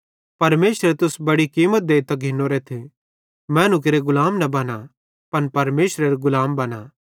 परमेशरे तुस बड़ी कीमत देइतां घिनोरेथ मैनू केरे गुलाम न बना पन परमेशरेरे गुलाम बना